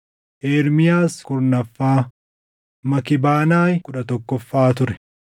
Ermiyaas kurnaffaa, Makibanaayi kudha tokkoffaa ture.